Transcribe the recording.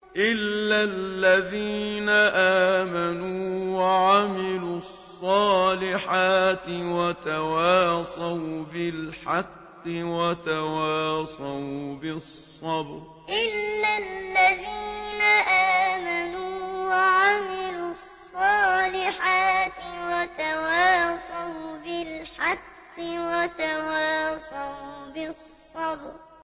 إِلَّا الَّذِينَ آمَنُوا وَعَمِلُوا الصَّالِحَاتِ وَتَوَاصَوْا بِالْحَقِّ وَتَوَاصَوْا بِالصَّبْرِ إِلَّا الَّذِينَ آمَنُوا وَعَمِلُوا الصَّالِحَاتِ وَتَوَاصَوْا بِالْحَقِّ وَتَوَاصَوْا بِالصَّبْرِ